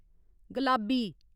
गलाबी